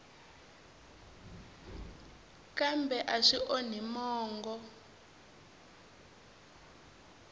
kambe a swi onhi mongo